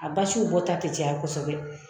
A basiw bɔta tɛ caya kosɛbɛ